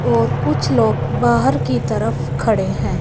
और कुछ लोग बाहर की तरफ खड़े हैं।